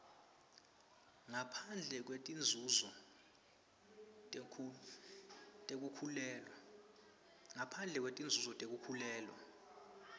ngaphandle kwetinzunzo tekukhulelwa